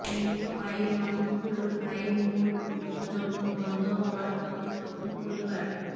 নিন্ম আয়ের মানুষগুলোর আয়ের মূল উৎস যখন বন্ধ হওয়ার পথে তখন পরিবার